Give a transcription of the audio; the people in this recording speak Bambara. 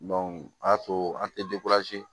o y'a to an tɛ